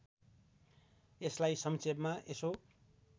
यसलाई संक्षेपमा यसो